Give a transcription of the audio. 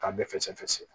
K'a bɛɛ fɛsɛfɛsɛ